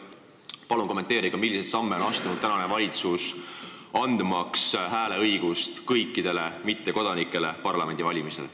" Palun kommenteerige, milliseid samme on praegune valitsus astunud, et anda parlamendivalimistel hääleõigus kõikidele mittekodanikele!